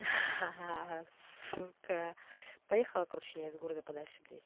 ха-ха сука поехала короче я из города подальше блять